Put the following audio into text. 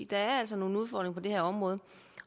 der er altså nogle udfordringer på det her område